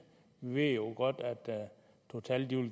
ved jo godt at total